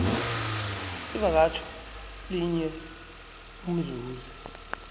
ivakatjho linye umzuzi